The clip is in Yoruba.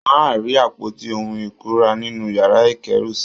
Wọ́n á rí àpótí ohun ìkunra nínú yàrá ìkẹ́rù-sí